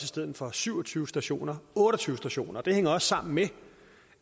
stedet for syv og tyve stationer otte og tyve stationer det hænger også sammen med